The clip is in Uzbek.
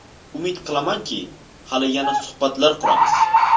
Umid qilamanki, hali yana suhbatlar quramiz.